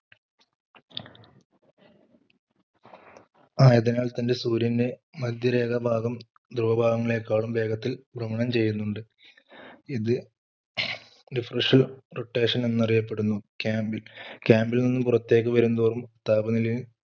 ആയതിനാൽ തന്നെ സൂര്യൻറെ മധ്യരേഖ ഭാഗം ധ്രുവ ഭാഗങ്ങളെ കാളിലും വേഗത്തിൽ ഭ്രമണം ചെയ്യുന്നുണ്ട് ഇത് refreshal rotation എന്ന് അറിയപ്പെടുന്നു.